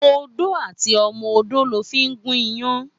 Ódó àtí òmò ódó lò fi n gún iyán